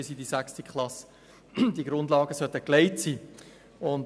Bis zur sechsten Klasse sollten die Grundlagen wirklich gelegt sein.